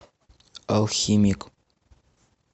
алхимик